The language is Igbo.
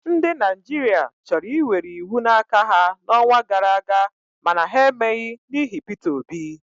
Ndị Naijiria chọrọ iwere iwu n'aka ha n'ọnwa gara aga mana ha emeghị n'ihi Peter Obi.